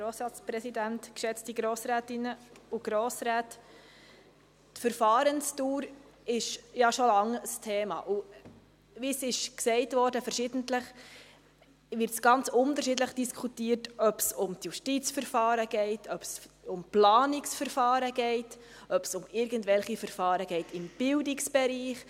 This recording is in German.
Die Verfahrensdauer ist ja schon lange ein Thema, und wie verschiedentlich gesagt wurde, wird ganz unterschiedlich diskutiert, sei es, dass es um die Justizverfahren geht, um die Planungsverfahren oder um irgendwelche Verfahren im Bildungsbereich.